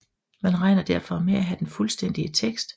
Man regner derfor med at have den fuldstændige tekst